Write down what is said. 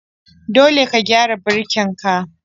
Dole ka gyara birkin ka.